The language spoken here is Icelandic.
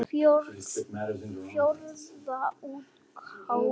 Fjórða útgáfa.